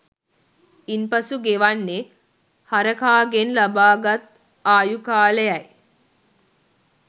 ඉන්පසු ගෙවන්නේ හරකාගෙන් ලබාගත් ආයු කාලයයි